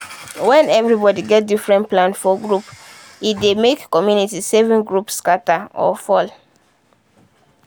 when everybody get different plan for group e dey make community saving group scatter or fall.